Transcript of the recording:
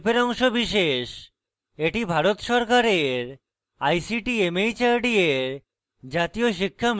এটি ভারত সরকারের ict mhrd এর জাতীয় শিক্ষা mission দ্বারা সমর্থিত